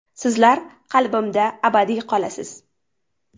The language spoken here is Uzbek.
Sizlar qalbimda abadiy qolasiz.